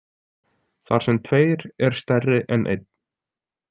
Þar sem tveir er stærri en einn.